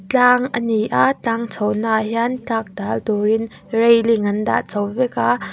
tlang ani a tlang chhohna ah hian tlak dal turin railing an dah chho vek a.